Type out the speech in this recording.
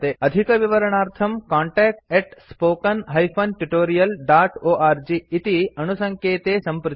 अधिकविवरणार्थं contact spoken tutorialorg इति अणुसङ्केते सम्पृच्यताम्